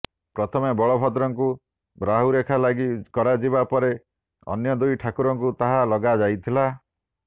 ପ୍ରଥମେ ବଳଭଦ୍ରଙ୍କୁ ରାହୁରେଖା ଲାଗି କରାଯିବା ପରେ ଅନ୍ୟ ଦୁଇ ଠାକୁରଙ୍କୁ ତାହା ଲଗାଯାଇଥିଲା